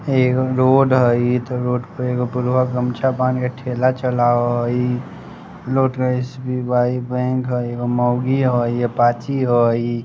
एगो रोड हई इध रोड पे एगो बुढ़वा गमछा बांधे ठेला चलाय हई| एस_बी_आई बेंक है एगो मोगी हई अपाची हई ।